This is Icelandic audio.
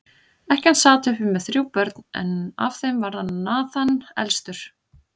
Ekkjan sat uppi með þrjú börn, en af þeim var Nathan elstur.